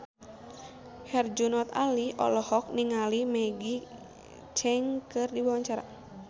Herjunot Ali olohok ningali Maggie Cheung keur diwawancara